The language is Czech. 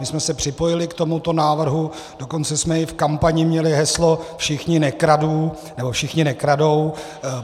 My jsme se připojili k tomuto návrhu, dokonce jsme i v kampani měli heslo "všichni nekradou".